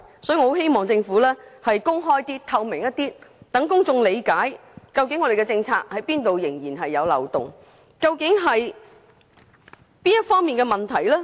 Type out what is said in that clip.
所以，我很希望政府能更加公開和透明，讓公眾理解當局的政策中有哪些部分仍然存在漏洞，究竟哪一方面出了問題。